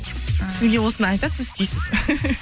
ы сізге осыны айтады сіз істейсіз